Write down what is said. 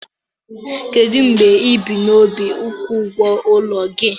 Kedu mgbe ị bu n'obi ịkwụ ụgwọ ụlọ gị?